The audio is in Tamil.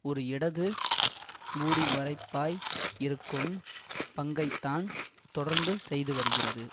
ஒரு இடது மூடிமறைப்பாய் இருக்கும் பங்கைத்தான் தொடர்ந்து செய்துவருகிறது